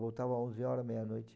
Voltava às onze horas, meia-noite.